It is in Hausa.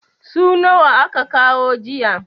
su nawa aka kawo jiya?